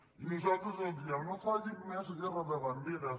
i nosaltres els diem no facin més guerra de banderes